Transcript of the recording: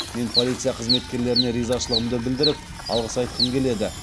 мен полиция қызметкерлеріне ризашылығымды білдіріп алғыс айтқым келеді